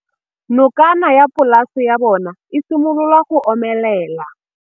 Nokana ya polase ya bona, e simolola go omelela.